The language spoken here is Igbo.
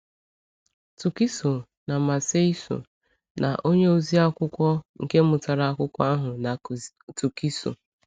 Túkìsò na Màséisò na onye oziakwụkwọ nke mụtara akwụkwọ ahụ na Túkìsò.